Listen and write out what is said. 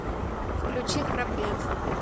включи храбрец